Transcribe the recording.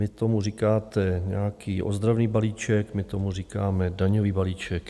Vy tomu říkáte nějaký ozdravný balíček, my tomu říkáme daňový balíček.